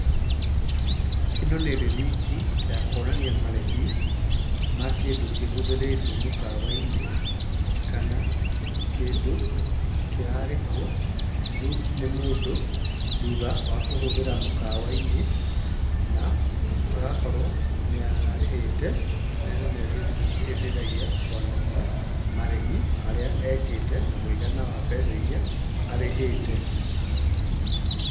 Ĩno nĩ rĩthiti ya kuonania marĩhi ma kĩndũ kĩhũthĩrĩtwo mũkawa-inĩ, kana kĩndũ kĩrarĩhwo nĩ mũndũ thutha wa kũhũthĩra mũkawa-inĩ na agakorwo nĩ arĩhĩte na ĩno nĩyo ĩteithagia kuonania marĩhi marĩa ekĩte na mũigana wa mbeca irĩa arĩhĩte.